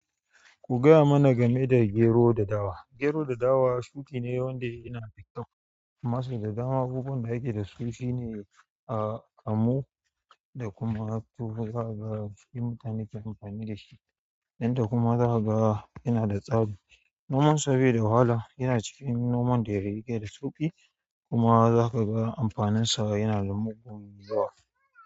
Ku gaya mana game da gero da dawa. Gero da dawa shuƙi ne wanda yana da kyau, masu da dama abubuwan da yake da su sune kamu da kuma tuwo za ka ga shi mutane ke amfani da shi. Nan da kuma za ka ga yana da tsami. Noman sa bai da wahala, yana cikin noman da ya ke da sauƙi kuma za ka ga amfaninsa yana da mugun zuwa.